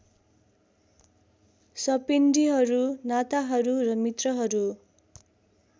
सपिण्डीहरू नाताहरू र मित्रहरू